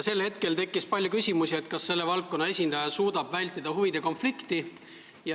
Sel hetkel tekkis palju küsimusi selle kohta, kas selle valdkonna esindaja suudab vältida huvide konflikti.